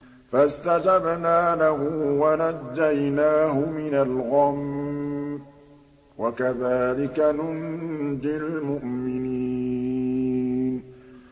فَاسْتَجَبْنَا لَهُ وَنَجَّيْنَاهُ مِنَ الْغَمِّ ۚ وَكَذَٰلِكَ نُنجِي الْمُؤْمِنِينَ